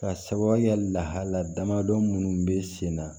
Ka sababuya lahalaya damadɔ minnu bɛ sen na